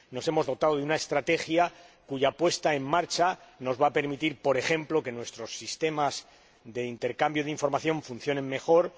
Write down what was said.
Nos hemos dotado de una estrategia cuya puesta en marcha va a permitir, por ejemplo, que nuestros sistemas de intercambio de información funcionen mejor